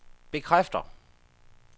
bekræfter